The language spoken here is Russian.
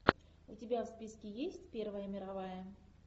у тебя в списке есть первая мировая